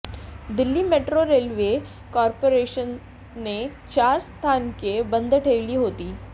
Delhi metro railway कॉपोरेशनने चार स्थानके बंद ठेवली होती